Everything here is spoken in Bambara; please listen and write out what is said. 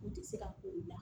N tɛ se ka ko la